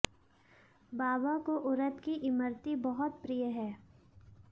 बाबा को उरद की इमर्ती बहुत प्रिय है